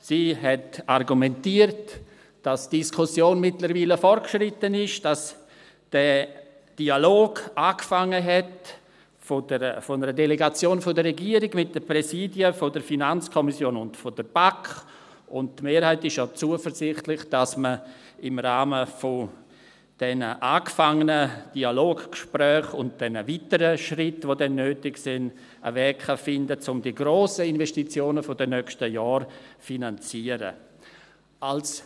Sie argumentierte, dass die Diskussion mittlerweile fortgeschritten ist, dass der Dialog einer Delegation der Regierung mit den Präsidien der FiKo und der BaK angefangen hat, und die Mehrheit ist ja zuversichtlich, dass man im Rahmen der angefangenen Gespräche und der weiteren Schritte, die dann nötig sein werden, einen Weg finden kann, um die grossen Investitionen der nächsten Jahre finanzieren zu können.